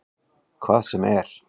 Hvað sem er?